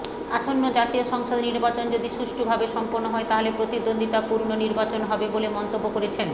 আসন্ন জাতীয় সংসদ নির্বাচন যদি সুষ্ঠুভাবে সম্পন্ন হয় তাহলে প্রতিদ্বন্দ্বিতাপূর্ণ নির্বাচন হবে বলে মন্তব্য করেছেন